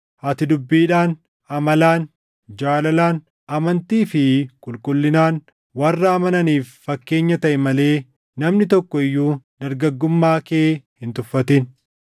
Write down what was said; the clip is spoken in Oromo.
Ati dubbiidhaan, amalaan, jaalalaan, amantii fi qulqullinaan warra amananiif fakkeenya taʼi malee namni tokko iyyuu dargaggummaa kee hin tuffatin.